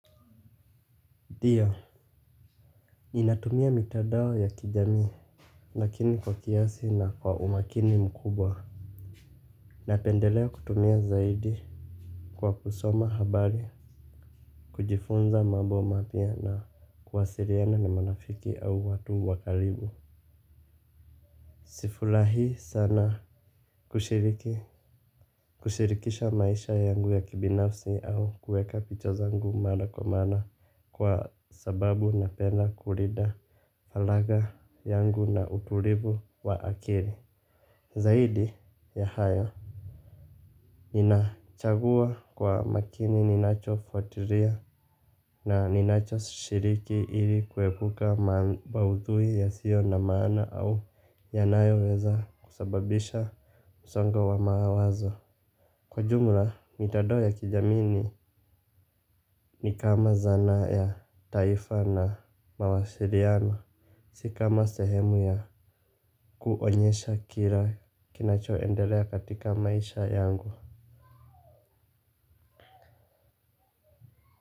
Ndio. Ninatumia mitadao ya kijamii. Lakini kwa kiasi na kwa umakini mkubwa. Napendelea kutumia zaidi. Kwa kusoma habari kujifunza mabo mapya na kuwasiriana na marafiki au watu wa kalibu. Sifulahii sana kushiriki. Kushirikisha maisha yangu ya kibinafsi au kueka picha zangu mara kwa mara. Kwa sababu napenda kulida falagha yangu na uturivu wa akiri. Zaidi ya hayo ninachagua kwa makini ninachofuatiria na ninachoshiriki ili kuepuka maudhui yasio na maana au yanayoweza kusababisha msongo wa mawazo. Kwa jumla mitadao ya kijamii ni ni kama zana ya taifa na mawasiriano. Si kama sehemu ya kuonyesha kila kinachoendelea katika maisha yangu.